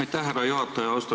Aitäh, härra juhataja!